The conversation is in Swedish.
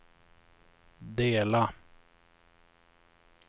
dela